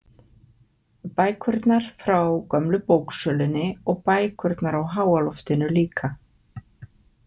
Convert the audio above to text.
Bækurnar frá gömlu bóksölunni og bækurnar á háaloftinu líka.